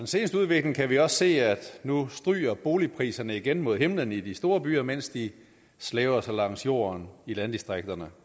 seneste udvikling kan vi også se at nu stryger boligpriserne igen mod himlen i de store byer mens de slæber sig langs jorden i landdistrikterne